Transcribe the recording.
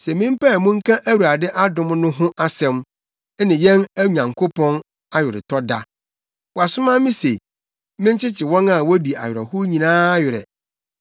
se mempae mu nka Awurade adom no ho asɛm, ne yɛn Nyankopɔn aweretɔ da. Wasoma me se, menkyekye wɔn a wodi awerɛhow nyinaa werɛ,